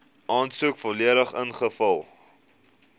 aansoek volledig ingevul